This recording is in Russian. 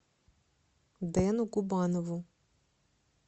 дэну губанову